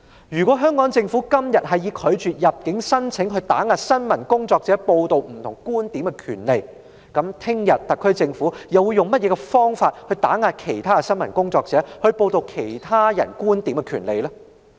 如果香港政府今天以拒絕入境申請來打壓新聞工作者報道不同觀點的權利，明天特區政府又會用甚麼方法來打壓其他新聞工作者報道其他觀點的權利呢？